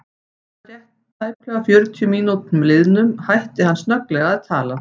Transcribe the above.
Að rétt tæplega fjörutíu mínútum liðnum hætti hann snögglega að tala.